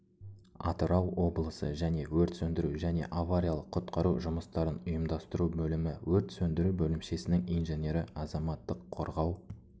атырау облысы және өрт сөндіру және авариялық-құтқару жұмыстарын ұйымдастыру бөлімі өрт сөндіру бөлімшесінің инженері азаматтық қорғау